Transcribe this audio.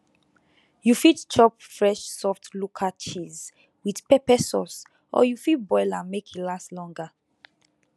you fit chop fresh soft local cheese with pepper sauce or you fit boil am make e last longer